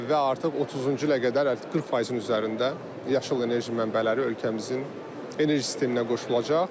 Və artıq 30-cu ilə qədər artıq 40%-in üzərində yaşıl enerji mənbələri ölkəmizin enerji sisteminə qoşulacaq.